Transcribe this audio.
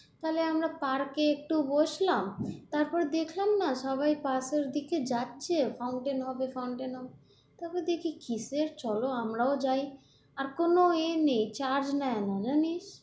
তাহলে আমরা পার্কে একটু বসলাম, তারপর দেখলাম না সবাই পার্কের দিকে যাচ্ছে fountain হবে fountain হবে তারপর দেখি কিসের চলো আমরাও যাই, আর কোনো এ নাই চার্জ নেয় না জানি,